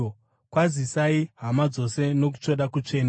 Kwazisai hama dzose nokutsvoda kutsvene.